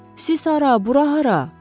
Siz hara, bura hara?